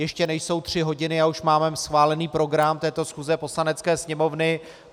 Ještě nejsou tři hodiny a už máme schválený program této schůze Poslanecké sněmovny.